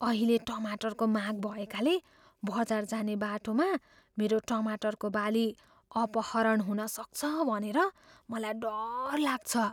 अहिले टमाटरको माग भएकाले बजार जाने बाटोमा मेरो टमाटरको बाली अपहरण हुन सक्छ भनेर मलाई डर लाग्छ।